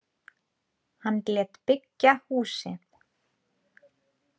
Hann lét byggja húsið.